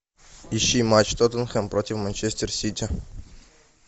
ищи матч тоттенхэм против манчестер сити